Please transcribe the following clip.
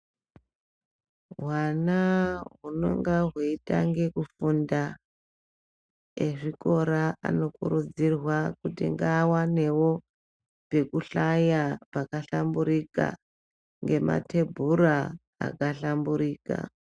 Hwana hunenge hweitanga kufunda hwezvikora anokuridzirwa kuti vawanewo pekuhla yapaka phlamburika nematebhura akahlamburika.